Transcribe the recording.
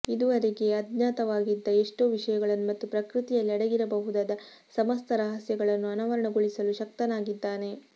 ಇದುವರೆಗೆ ಅಜ್ಞಾತವಾಗಿದ್ದ ಎಷ್ಟೋ ವಿಷಯಗಳನ್ನು ಮತ್ತು ಪ್ರಕೃತಿಯಲ್ಲಿ ಅಡಗಿರಬಹುದಾದ ಸಮಸ್ತ ರಹಸ್ಯಗಳನ್ನು ಅನಾವರಣಗೊಳಿಸಲು ಶಕ್ತನಾಗಿದ್ದಾನೆ